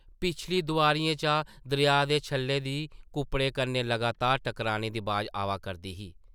पिछली दोआरियें चा दरेआ दे छल्लें दी कुप्पड़ें कन्नै लगातार टकराने दी अवाज़ आवा करदी ही ।